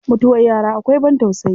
Mutuwar yara akwai ban tausayi.